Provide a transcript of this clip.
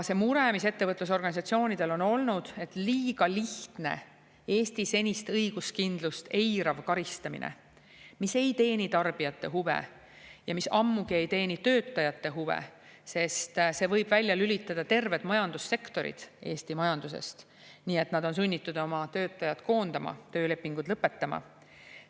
Neil ettevõtlusorganisatsioonidel on olnud mure, et liiga lihtne Eesti senist õiguskindlust eirav karistamine, mis ei teeni tarbijate huve ja mis ammugi ei teeni töötajate huve, sest see võib välja lülitada terved majandussektorid Eesti majandusest, nii et nad on sunnitud oma töötajaid koondama, töölepingud lõpetama.